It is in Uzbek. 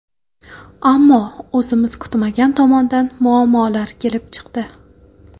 Ammo o‘zimiz kutmagan tomondan muammolar kelib chiqdi.